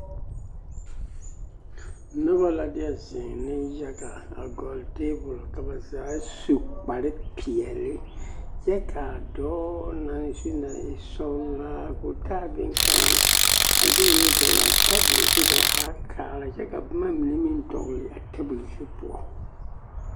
Noba la deɛ zeŋ neŋyaga a gɔlle teebol ka ba zaa su kpare peɛle kyɛ ka a dɔɔ na zu naŋ e sɔgelaa k'o taa boŋkaŋa a de o nu dɔgele a tabol zu ka ba haa kaara kyɛ ka boma mine meŋ dɔgele a tabol zu poɔ.